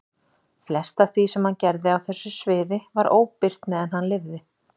Flest af því sem hann gerði á þessu sviði var óbirt meðan hann lifði.